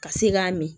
Ka se k'a min